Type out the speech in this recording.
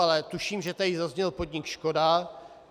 Ale tuším, že tady zazněl podnik Škoda.